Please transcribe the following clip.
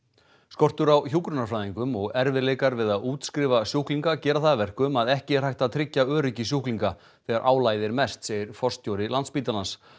skortur á hjúkrunarfræðingum og erfiðleikar við að útskrifa sjúklinga gera það að verkum að ekki er hægt að tryggja öryggi sjúklinga þegar álagið er mest segir forstjóri Landspítalans